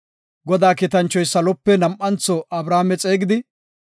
Godaa kiitanchoy saluwape nam7antho Abrahaame xeegidi,